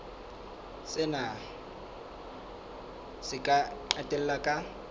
sena se ka qetella ka